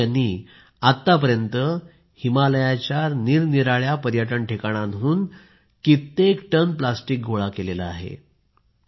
प्रदीप यांनी आतापर्यंत हिमालयाच्या निरनिराळ्या पर्यटन ठिकाणांहून कित्येक टन प्लास्टिक गोळा केलं आहे